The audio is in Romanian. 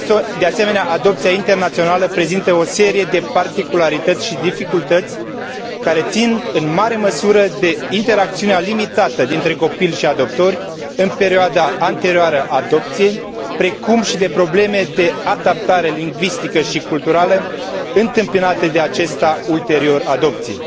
De asemenea, adopția internațională prezintă o serie de particularități și dificultăți care țin, în mare măsură, de interacțiunea limitată dintre copil și adoptori, în perioada anterioară adopției, precum și de probleme de adaptare lingvistică și culturală întâmpinate de acesta ulterior adopției.